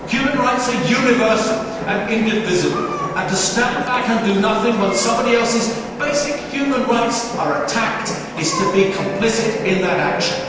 Human rights are universal and indivisible, and to stand back and do nothing when somebody else's basic human rights are attacked is to be complicit in that action.